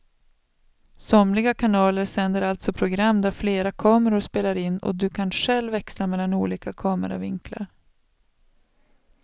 Somliga kanaler sänder alltså program där flera kameror spelar in och du kan själv växla mellan olika kameravinklar.